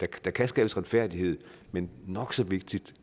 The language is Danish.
der kan skabes retfærdighed men nok så vigtigt